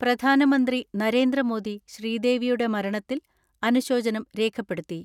പ്രധാനമന്ത്രി നരേന്ദ്രമോദി ശ്രീദേവിയുടെ മരണത്തിൽ അനുശോചനം രേഖപ്പെടുത്തി.